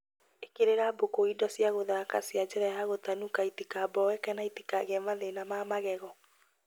Ĩkĩrĩra mbũkũ indo cia gũthaka cia njĩra ya gũtanuka itikaboeke na itikagĩe mathĩna ma magego